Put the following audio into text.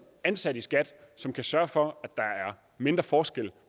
ansat i skat som kan sørge for at der er mindre forskel